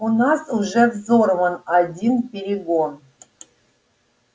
у нас уже взорван один перегон